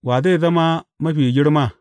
Wa zai zama mafi girma?